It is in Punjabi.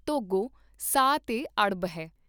ਧੌਗੋ ਸਾਹ ਤੇ ਅੜਬ ਹੈ।